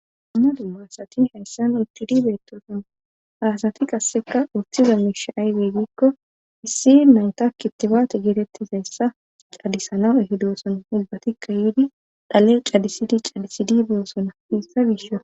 duma duma asati hayssan utidi betosona haasati qasseka uthiza miish aybey giikko issi nanta kitibaate geetettizayssa c'adisana ehidoson ubbatikka yiidi dhale c'adisidi c'adisidi beosona hessa giisho